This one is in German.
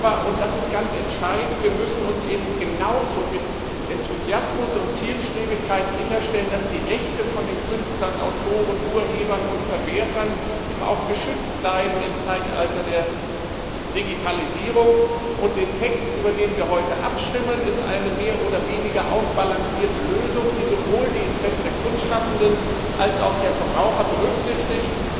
Aber, und das ist ganz entscheidend, wir müssen genauso mit Enthusiasmus und Zielstrebigkeit sicherstellen, dass die Rechte von den Künstlern, Autoren, Urhebern und Verwertern im Zeitalter der Digitalisierung auch geschützt bleiben. Der Text, über den wir heute abstimmen, ist eine mehr oder weniger ausbalancierte Lösung, die sowohl die Interessen der Kunstschaffenden als auch der Verbraucher berücksichtigt.